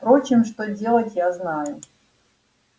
впрочем что делать я знаю